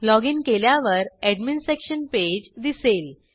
login केल्यावर admin section page दिसेल